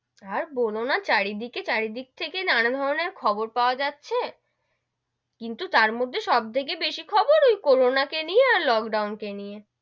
আর বোলো না চারিদিকে চারিদিক থেকে নানান ধরণের খবর পাওয়া যাচ্ছে, কিন্তু তার মধ্যে সব থেকে বেশি খবর ওই করোনা কে নিয়ে আর লোকডাউন কে নিয়ে,